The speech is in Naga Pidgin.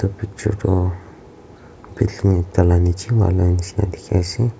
etu picture toh filmi ekta lah niche wala nisna dikhi ase.